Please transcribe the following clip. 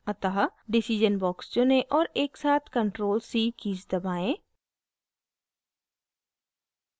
अतः decision box चुनें और एकसाथ ctrl + c कीज़ दबाएं